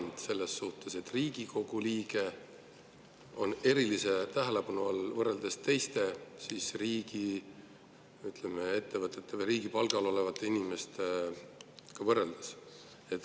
Riigikogu liige erilise tähelepanu all võrreldes teiste riigiettevõtete või riigi palgal olevate inimestega?